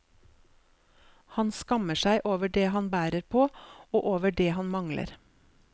Han skammer seg over det han bærer på og over det han mangler.